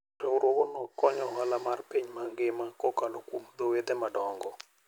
Riwruogno konyo ohala mar piny mangima kokalo kuom dho wedhe madongo.